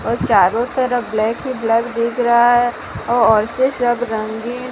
चारों तरफ ब्लैक ही ब्लैक दिख रहा है औरते सब रंगीन--